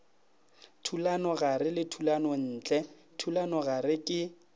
thulanogare le thulanontle thulanogare ke